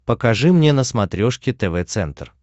покажи мне на смотрешке тв центр